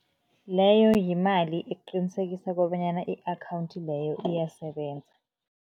Leyo yimali eqinisekisa kobanyana i-akhawundi leyo iyasebenza.